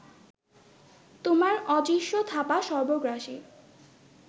তোমার অদৃশ্য থাবা সর্বগ্রাসী